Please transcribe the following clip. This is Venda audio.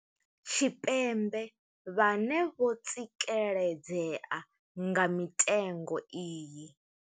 Tshipembe vhane vho tsikeledzea nga mitengo iyi.